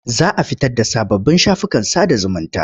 Za a fitar da sababbin shafukan sada zumunta.